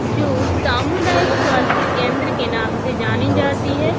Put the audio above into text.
जो सामुदायिक स्वास्थ्य केंद्र के नाम से जानी जाती है।